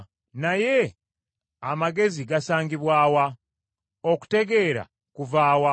“Naye amagezi gasangibwa wa? Okutegeera kuva wa?